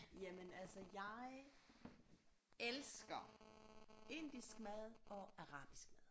Jamen altså jeg elsker indisk mad og arabisk mad